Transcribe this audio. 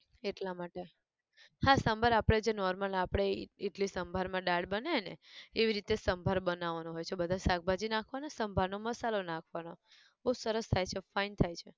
એટલા માટે, હા સંભાર આપણે જે normal આપણે ઈ ઈડલી સંભાર માં દાળ બને ને, એવી રીતે સંભાર બનવાનો હોય છે બધા શાકભાજી નાખવાના, સંભાર નો મસાલો નાખવાનો, બઉ સરસ થાય છે fine થાય છે